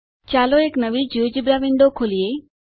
ચાલો એક નવી જિયોજેબ્રા વિન્ડો ખોલીએ